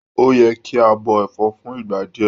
O yẹ kí a bọ ẹfọ fún ìgbà díẹ.